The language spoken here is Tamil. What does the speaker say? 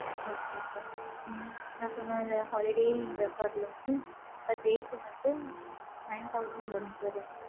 okay sir உம் நான் சொன்ன, இந்த holiday இந்த resort ல வந்து, per day க்கு வந்து, nine thousand வரும், sir rent.